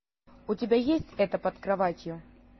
у тебя есть это под кроватью